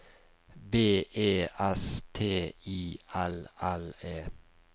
B E S T I L L E